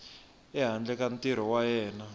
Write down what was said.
ehandle ka ntirho wa yena